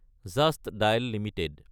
just dial Ltd